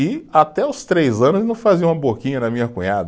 E até os três anos fazia uma boquinha na minha cunhada.